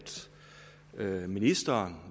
at ministeren